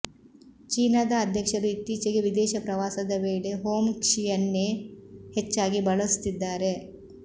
ಚೀನಾದ ಅಧ್ಯಕ್ಷರು ಇತ್ತೀಚೆಗೆ ವಿದೇಶ ಪ್ರವಾಸದ ವೇಳೆ ಹೋಂಕ್ಷಿಯನ್ನೇ ಹೆಚ್ಚಾಗಿ ಬಳಸುತ್ತಿದ್ದಾರೆ